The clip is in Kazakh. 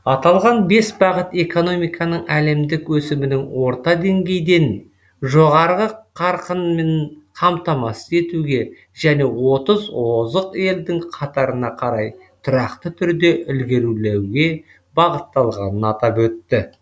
аталған бес бағыт экономиканың әлемдік өсімінің орта деңгейден жоғарғы қарқынын қамтамасыз етуге және отыз озық елдің қатарына қарай тұрақты түрде ілгерулеуге бағытталғанын атап өтті